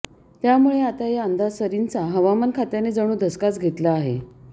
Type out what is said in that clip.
त्यामुळे आता या अंदाजसरींचा हवामान खात्याने जणू धसकाच घेतला आहे